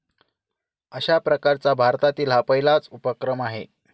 अशा प्रकारचा भारतातील हा पहिलाच उपक्रम आहे.